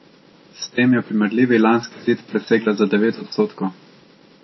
S tem je primerljivi lanski izid presegla za devet odstotkov.